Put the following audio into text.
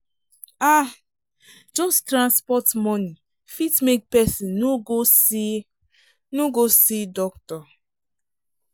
ah! just transport money fit make person no go see no go see doctor.